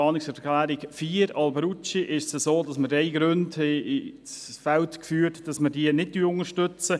Bei der Planungserklärung 4, Alberucci, haben wir drei Gründe ins Feld geführt, weswegen wir diese nicht unterstützen.